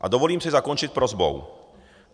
A dovolím si zakončit prosbou.